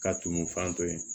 Ka tumu fan to yen